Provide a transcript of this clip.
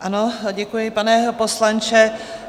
Ano, děkuji, pane poslanče.